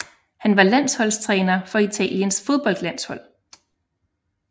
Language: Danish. Han var landsholdstræner for Italiens fodboldlandshold